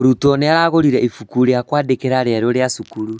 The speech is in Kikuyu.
Mũrutwo nĩagũrire ibuku ria kwandĩka rĩerũ rĩa cukuru